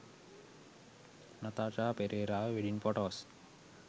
nathasha perera wedding photos